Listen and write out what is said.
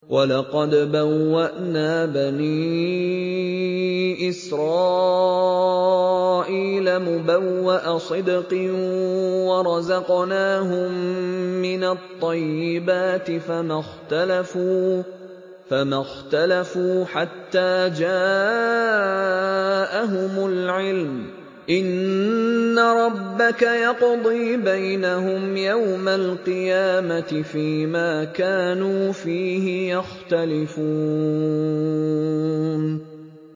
وَلَقَدْ بَوَّأْنَا بَنِي إِسْرَائِيلَ مُبَوَّأَ صِدْقٍ وَرَزَقْنَاهُم مِّنَ الطَّيِّبَاتِ فَمَا اخْتَلَفُوا حَتَّىٰ جَاءَهُمُ الْعِلْمُ ۚ إِنَّ رَبَّكَ يَقْضِي بَيْنَهُمْ يَوْمَ الْقِيَامَةِ فِيمَا كَانُوا فِيهِ يَخْتَلِفُونَ